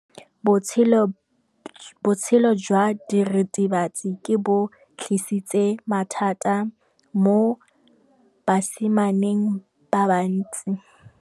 Botshelo jwa diritibatsi ke bo tlisitse mathata mo basimaneng ba bantsi.